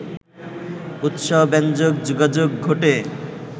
উৎসাহব্যঞ্জক যোগাযোগ ঘটে